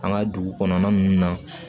An ka dugu kɔnɔna ninnu na